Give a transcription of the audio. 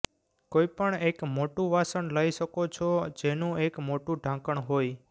કોઈપણ એક મોટું વાસણ લઈ શકો છો જેનું એક મોટું ઢાંકણ હોય